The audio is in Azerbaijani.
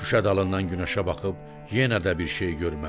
Şüşə dalından günəşə baxıb yenə də bir şey görmədi.